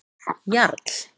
Jarl